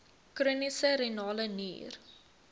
chroniese renale nier